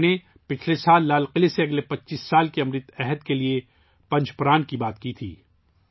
میں نے پچھلے سال لال قلعہ سے اگلے 25 سال کے امرت کال کے لیے 'پنچ پران' کی بات کی تھی